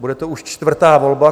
Bude to už čtvrtá volba.